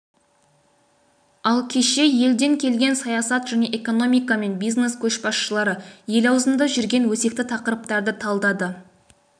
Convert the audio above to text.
ал кеше елден келген саясат және экономика мен бизнес көшбасшылары ел аузында жүрген өзекті тақырыптарды талдады